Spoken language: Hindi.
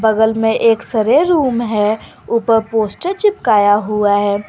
बगल में एक्स_रे रूम है ऊपर पोस्टर चिपकाए हुआ है।